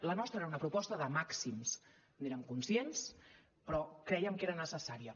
la nostra era una proposta de màxims n’érem conscients però crèiem que era necessària